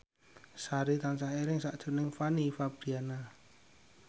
Sari tansah eling sakjroning Fanny Fabriana